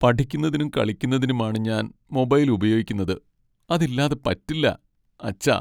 പഠിക്കുന്നതിനും കളിക്കുന്നതിനുമാണ് ഞാൻ മൊബൈൽ ഉപയോഗിക്കുന്നത് , അതില്ലാതെ പറ്റില്ല, അച്ഛാ.